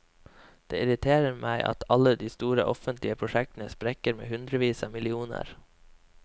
Det irriterer meg at alle de store offentlige prosjektene sprekker med hundrevis av millioner.